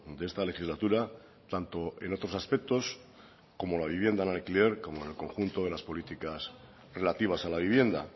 de esta legislatura tanto en otros aspectos como la vivienda en alquiler como en el conjunto de las políticas relativas a la vivienda